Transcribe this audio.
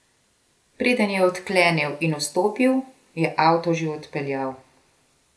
Preden je odklenil in vstopil, je avto že odpeljal.